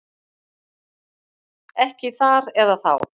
Ekki þar eða þá.